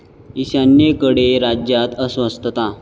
ईशान्येकडे राज्यांत अस्वस्थता